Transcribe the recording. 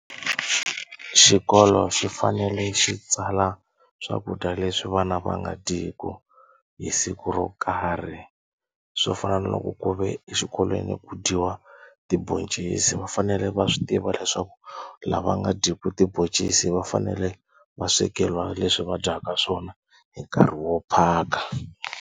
Xikolo xi fanele xi tsala swakudya leswi vana va nga dyiku hi siku ro karhi swo fana na loko ku ve exikolweni ku dyiwa tiboncisi va fanele va swi tiva leswaku lava nga dyiku tiboncisi va fanele va swekeriwa leswi va dyaka swona hi nkarhi wo phaka.